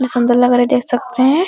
सुंदर लग रहा है देख सकते हैं |